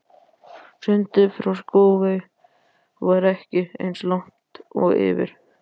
Sundið frá Skógey var ekki eins langt og yfir